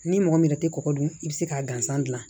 Ni mɔgɔ min yɛrɛ tɛ kɔgɔ dun i bɛ se k'a gansan dilan